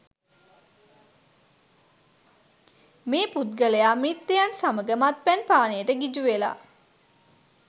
මේ පුද්ගලයා මිත්‍රයන් සමග මත්පැන් පානයට ගිජු වෙලා